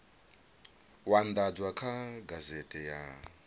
u andadzwa kha gazethe ya